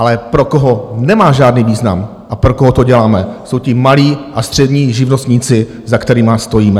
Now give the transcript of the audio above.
Ale pro koho nemá žádný význam a pro koho to děláme, jsou ti malí a střední živnostníci, za kterými stojíme.